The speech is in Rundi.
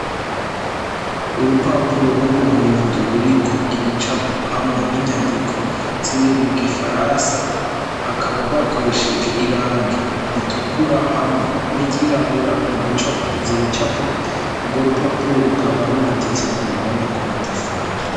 Urupapuro rw'umuhondo ruriko ibicapo hamwe n'inyandiko ziri mu gifaransa hakaba bakoresheje irange ritukura hamwe n'iryirabura mu gucapa ivyo bicapo urwo rupapuro rukaba rumaditse ku ruhome rwamatafari.